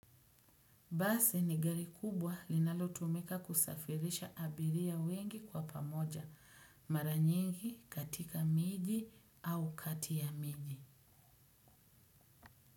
Basi nigari kubwa linalo tumika kusafirisha abiria wengi kwa pamoja maranyingi katika miji au kati ya miji.